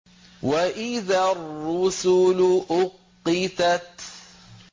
وَإِذَا الرُّسُلُ أُقِّتَتْ